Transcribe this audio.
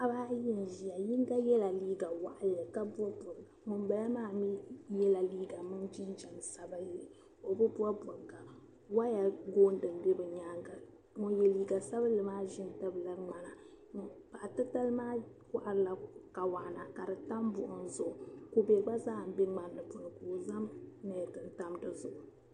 paɣaba ayi n ʒia yinga yela liiga waɣinli ka bɔbi bɔbiga ŋun bala maa mi yela liiga mini jinjam sabinlli o bi bɔbi bɔbiga waya gooni m-be bɛ nyaanga ŋun ye liiga sabinlli maa ʒimi n tabiliri ŋmana paɣa titali maa kohirila kawana ka di tam buɣim zuɣu kube gba zaa m-be ŋmani ni zaya ka o zaŋ neeti n tam di zuɣu